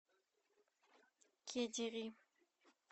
кедири